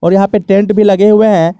यहां पे टेंट भी लगे हुए हैं।